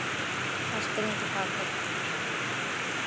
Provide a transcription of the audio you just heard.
Þær springa úr hlátri.